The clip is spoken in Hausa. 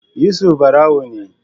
Yusuf barawo ne